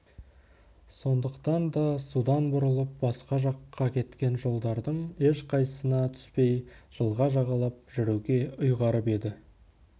сондықтан да судан бұрылып басқа жаққа кеткен жолдардың ешқайсысына түспей жылға жағалап жүруге ұйғарып еді